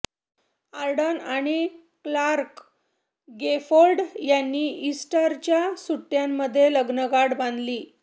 Ardern आणि Clarke Gayford यांनी इस्टरच्या सुट्टयांमध्ये लग्नगाठ बांधली